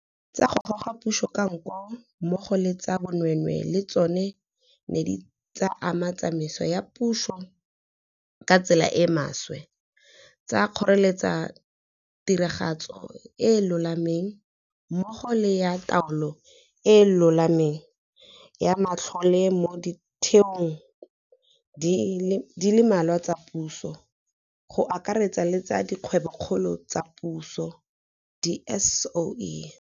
tsa go goga puso ka nko mmogo le tsa bonweenwee le tsona di ne tsa ama tsamaiso ya puso ka tsela e e maswe, tsa kgoreletsa tiragatso e e lolameng, mmogo le ya taolo e e lolameng ya matlole mo ditheong di le mmalwa tsa puso, go akaretsa le tsa Dikgwebokgolo tsa Puso, di-SOE.